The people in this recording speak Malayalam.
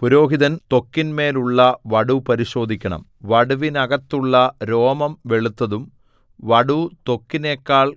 പുരോഹിതൻ ത്വക്കിന്മേൽ ഉള്ള വടു പരിശോധിക്കണം വടുവിനകത്തുള്ള രോമം വെളുത്തതും വടു ത്വക്കിനെക്കാൾ